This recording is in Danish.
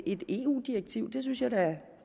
et eu direktiv det synes jeg da